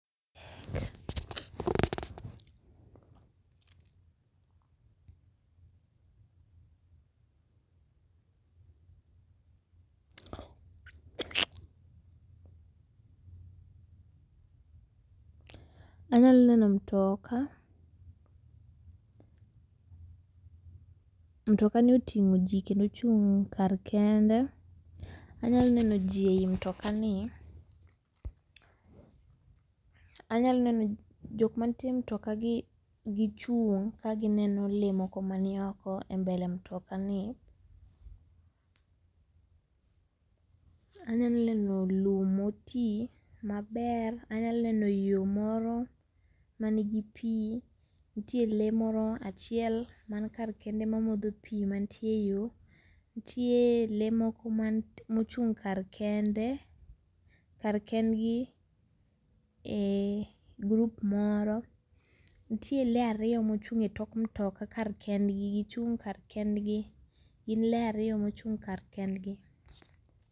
...Anyalo neno mutoka, mutokani otingo ji kendo ochung' kar kende, anyalo neno ji ei mutokani ,anyalo neno jok mantie e mutoka gichung' kagineno lee moko manioko e [cs[ mbele mutokani. Anyalo neno lum motii maber, anyalo neno yoo moro manigi pii nitie lee moro achiel man kar kende mamodho pii mantie eyoo ,nitie lee moko mochung' kar kende, kar kendgi ee group moro, nitie lee ariyo mochung' etok mutoka kar kendgi gi chung' kar kendgi. Gin lee ariyo mochung' kar kendgi.